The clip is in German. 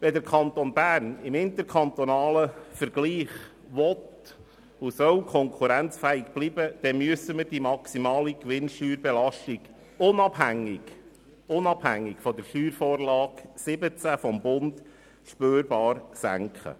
Wenn der Kanton Bern im interkantonalen Vergleich konkurrenzfähig bleiben will und soll, dann müssen wir die maximale Gewinnsteuerbelastung unabhängig von der Steuervorlage 2017 (SV17) des Bundes spürbar senken.